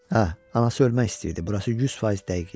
Hə, anası ölmək istəyirdi, burası 100% dəqiq idi.